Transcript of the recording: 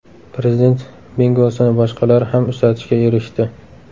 Prezident bingosini boshqalar ham uchratishga erishdi.